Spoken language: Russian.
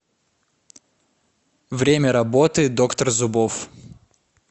время работы доктор зубов